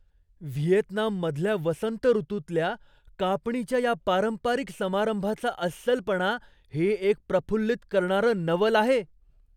व्हिएतनाममधल्या वसंत ऋतूतल्या कापणीच्या या पारंपारिक समारंभाचा अस्सलपणा हे एक प्रफुल्लित करणारं नवल आहे.